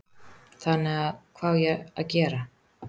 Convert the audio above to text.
Þannig að hvað á ég að gera?